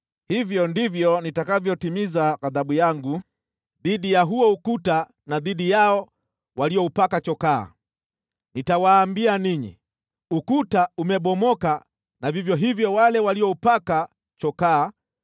Hivyo ndivyo nitakavyoitimiza ghadhabu yangu dhidi ya huo ukuta na dhidi yao walioupaka chokaa. Nitawaambia ninyi, “Ukuta umebomoka na vivyo hivyo wale walioupaka chokaa,